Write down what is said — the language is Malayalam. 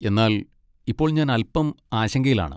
എന്നാൽ ഇപ്പോൾ ഞാൻ അൽപ്പം ആശങ്കയിലാണ്.